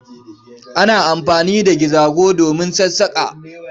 Ana anfani da gizago domin sassaƙa.